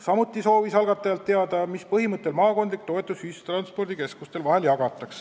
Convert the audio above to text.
Samuti soovis Toomas Kivimägi algatajatelt teada saada, mis põhimõtte järgi jagataks maakondlikku toetust ühistranspordikeskuste vahel.